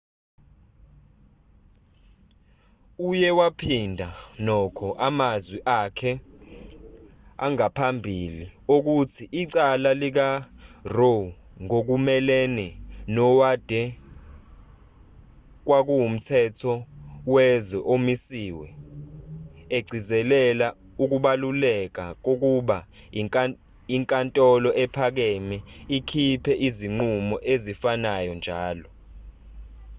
uye waphinda nokho amazwi akhe angaphambili okuthi icala likaroe ngokumelene nowade kwakuwumthetho wezwe omisiwe egcizelela ukubaluleka kokuba inkatholo ephakame ikhiphe izinqumo ezifanayo njalo